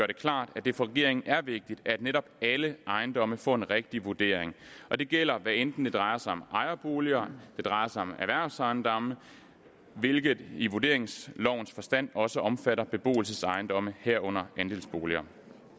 det klart at det for regeringen er vigtigt at netop alle ejendomme får en rigtig vurdering og det gælder hvad enten det drejer sig om ejerboliger det drejer sig om erhvervsejendomme hvilket i vurderingslovens forstand også omfatter beboelsesejendomme herunder andelsboliger